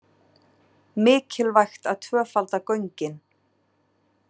Mikilvægt að tvöfalda göngin